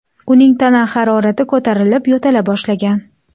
Uning tana harorati ko‘tarilib, yo‘tala boshlagan.